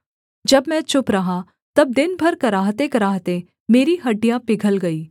जब मैं चुप रहा तब दिन भर कराहतेकराहते मेरी हड्डियाँ पिघल गई